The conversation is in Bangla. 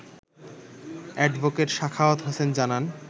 অ্যাডভোকেট সাখাওয়াত হোসেন জানান